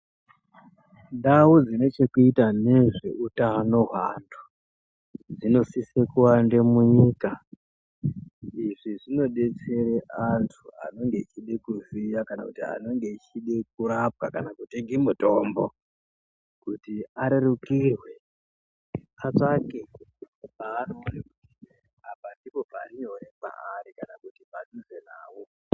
Ndau dzine chekuita ngezveutano hweantu dzinosisa kuwanda munyika. Izvi zvinodetsera antu anenge eida kuziya kana kuti anenge echida kurapwa. Kana kutenga mutombo kuti arerukirwe atsvake paanoona kuti apa ndipo pari nyore kwavari kana kuti padhuze navo.